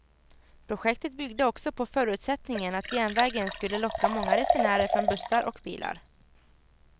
Projektet byggde också på förutsättningen att järnvägen skulle locka många resenärer från bussar och bilar.